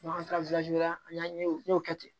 an taara la an y'a ye o n y'o kɛ ten